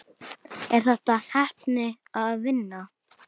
Er þetta heppni eða vinna?